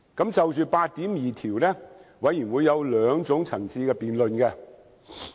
就《條例草案》第82條，法案委員會有兩個層次的辯論。